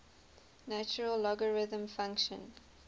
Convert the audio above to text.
natural logarithm function